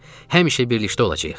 Həmişə birlikdə olacağıq.